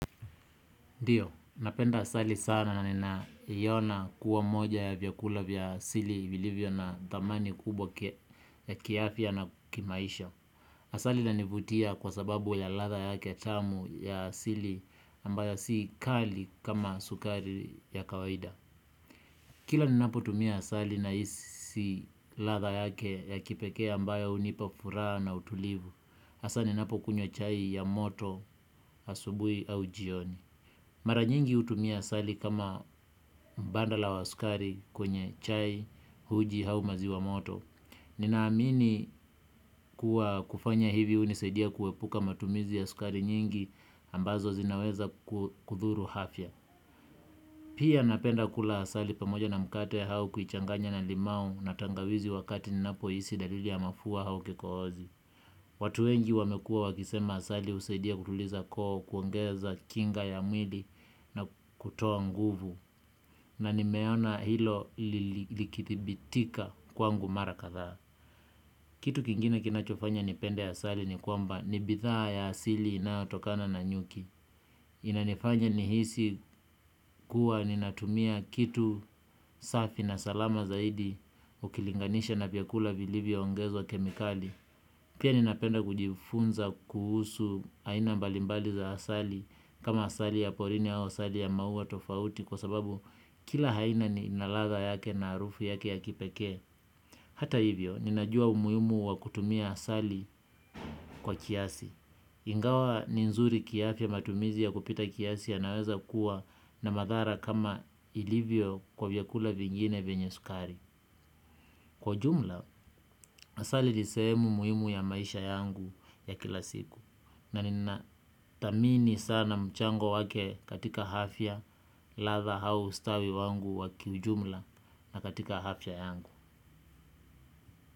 Ndiyo, napenda asali sana na nina iona kuwa moja ya vyakula vya asili vilivyo na thamani kubwa ya kiafya na kimaisha. Asali inanivutia kwa sababu ya ladha yake tamu ya asili ambayo si kali kama sukari ya kawaida. Kila ninapo tumia asali nahisi ladha yake ya kipekee ambayo hunipa furaha na utulivu. Asali ninapo kunywa chai ya moto asubuhi au jioni. Mara nyingi hutumia asali kama mbadala wa sukari kwenye chai uji au maziwa moto. Nina amini kuwa kufanya hivi hunisadia kuepuka matumizi ya sukari nyingi ambazo zinaweza kudhuru afya. Pia napenda kula asali pamoja na mkate au kuichanganya na limau na tangawizi wakati ninapo hisi dalili ya mafua au kikohozi. Watu wengi wamekua wakisema asali husaidia kutuliza koo kuongeza kinga ya mwili na kutoa nguvu na nimeona hilo likidhibitika kwangu mara kadhaa. Kitu kingine kinachofanya ni pende asali ni kwamba ni bidhaa ya asili na inayotokana na nyuki. Inanifanya nihisi kuwa ni natumia kitu safi na salama zaidi ukilinganisha na vyakula vilivyo ongezwa kemikali. Pia ninapenda kujifunza kuhusu aina mbalimbali za asali kama asali ya porini ya asali ya maua tofauti kwa sababu kila aina ni ina ladha yake na harufu yake ya kipeke. Hata hivyo, ninajua umuhimu wa kutumia asali kwa kiasi. Ingawa ni nzuri kiafya matumizi ya kupita kiasi yanaweza kuwa na madhara kama ilivyo kwa vyakula vingine venye sukari. Kwa ujumla, asali ni sehemu muhimu ya maisha yangu ya kila siku. Na nina thamini sana mchango wake katika afya ladha au ustawi wangu wa kiujumla na katika afya yangu.